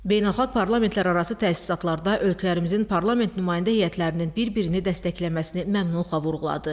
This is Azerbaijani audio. Beynəlxalq parlamentlərarası təsisatlarda ölkələrimizin parlament nümayəndə heyətlərinin bir-birini dəstəkləməsini məmnunluqla vurğuladı.